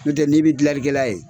N tɛ n'i bi gilanlikɛla ye